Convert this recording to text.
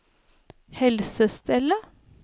helsestellet